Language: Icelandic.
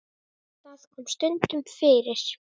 Það kom stundum fyrir.